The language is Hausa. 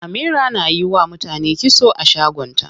Amira na yiwa mutane kitso a shagon ta.